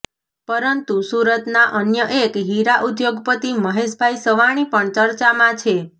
પરંતુ સુરતના અન્ય એક હીરા ઉદ્યોગપતિ મહેશભાઈ સવાણી પણ ચર્ચામાં છે